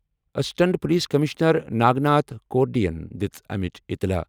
Assistant police commissioner Nagnath Korde یَن دِژ اَمِچ اطلاع۔